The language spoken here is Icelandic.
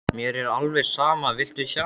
Mér er alveg sama, viltu sjá?